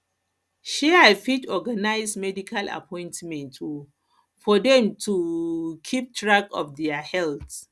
um i fit organize medical appointments um for dem to um keep track of their health